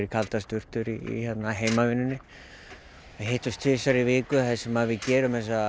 kaldar sturtur í heimavinnu við hittumst tvisvar í viku þar sem við gerum þessa